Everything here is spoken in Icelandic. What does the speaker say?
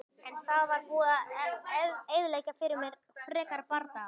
En það var búið að eyðileggja fyrir mér frekari bardaga.